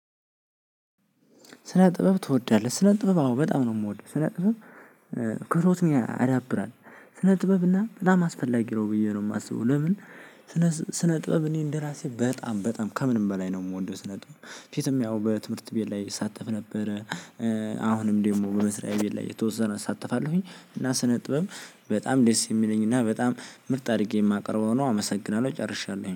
ስነ ጥበብ ትወዳለህ ስነ ጥበብ አዎ በጣም ነው የምወድው ስነ ጥበብ። ክህሎትን ያዳብራል ስነ ጥበብ እና በጣም አስፈላጊ ነው ብዬ ነው የማስበው። ለምን? ስነ ጥበብ እኔ እንደራሴ በጣም በጣም ከምንም በላይ ነው የምወደው ስነጥብ ፊትም ያው በትምህርት ቤት ላይ እሳተፍ ነበረ። አሁንም ደግሞ በመስሪያ ቤት ላይ የተወሰነ እሳተፋለሁኝ። እና ስነጥበብ በጣም ደስ የሚለኝ እና በጣም ምርጥ አድርጌ የማቀርበው ነው። አመሰግናለሁ ጨርሻለሁኝ